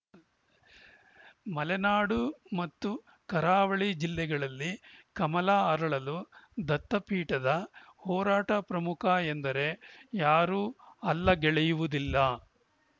ಮಲೆನಾಡು ಮತ್ತು ಕರಾವಳಿ ಜಿಲ್ಲೆಗಳಲ್ಲಿ ಕಮಲ ಅರಳಲು ದತ್ತಪೀಠದ ಹೋರಾಟ ಪ್ರಮುಖ ಎಂದರೆ ಯಾರೂ ಅಲ್ಲಗೆಳೆಯುವುದಿಲ್ಲ